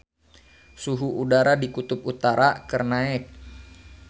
Suhu udara di Kutub Utara keur naek